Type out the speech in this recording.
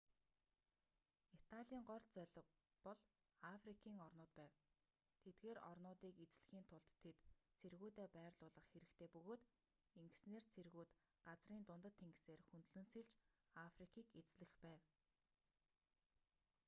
италийн гол зорилго бол африкийн орнууд байв тэдгээр орнуудыг эзлэхийн тулд тэд цэргүүдээ байрлуулах хэрэгтэй бөгөөд ингэснээр цэргүүд газрын дундад тэнгисээр хөндлөн сэлж африкийг эзлэх байв